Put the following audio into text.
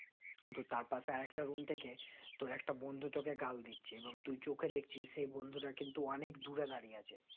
কিন্তু তার পশে আর একটা room থেকে তোর একটা বন্ধু তোকে গাল দিচ্ছে এবং তুই চোখে দেখছিস সেই বন্ধুটা কিন্তু অনেক দূরে দাঁড়িয়ে আছে